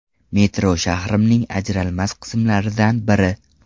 Metro shahrimning ajralmas qismlaridan biri.